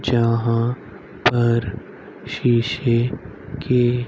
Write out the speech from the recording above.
जहां पर शीशे के--